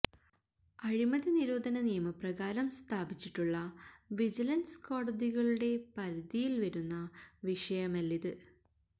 അഴിമതി നിരോധന നിയമപ്രകാരം സ്ഥാപിച്ചിട്ടുള്ള വിജിലന്സ് കോടതികളുടെ പരിധിയില് വരുന്ന വിഷയമല്ലിത്